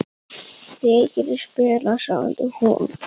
Þið getið spilað, sagði hún.